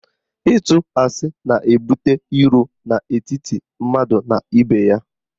Ịtụ asị na-ebute iro n'etiti mmadụ na ibe ya.